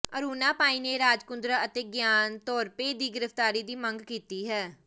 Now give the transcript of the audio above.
ਅਰੁਣਾ ਪਾਈ ਨੇ ਰਾਜ ਕੁੰਦਰਾ ਅਤੇ Ryan Thorpe ਦੀ ਗ੍ਰਿਫਤਾਰੀ ਦੀ ਮੰਗ ਕੀਤੀ ਹੈ